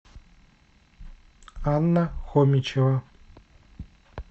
анна хомичева